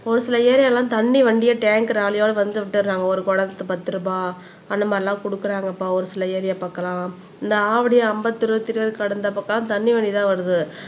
ஒரு சில ஏரியால எல்லாம் தண்ணி வண்டிய டேங்க் லாரியோட வந்து விட்டுறாங்க ஒரு குடத்துக்கு பத்து ரூபா அந்த மாதிரி எல்லாம் கொடுக்குறாங்கப்பா ஒரு சில ஏரியா பக்கம் எல்லாம் இந்த ஆவடி, அம்பத்தூர், திருவேற்காடு இந்த பக்கம் எல்லாம் தண்ணி வண்டி தான் வருது